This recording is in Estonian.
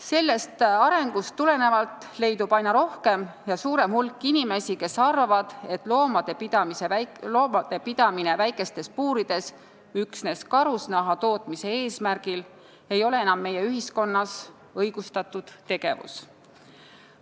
Sellest arengust tulenevalt arvab aina suurem hulk inimesi, et loomade pidamine väikestes puurides üksnes karusnaha tootmise eesmärgil ei ole meie ühiskonnas enam õigustatud tegevus.